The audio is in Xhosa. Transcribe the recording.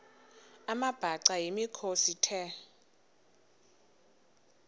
amabhaca yimikhosi the